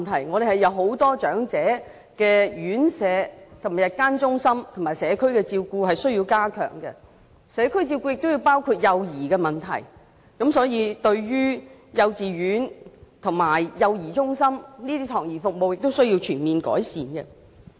我們有很多長者院舍、日間中心和社區照顧服務需要加強，而社區照顧方面亦包含了幼兒問題，所以，幼稚園和幼兒中心的託兒服務也需要全面改善。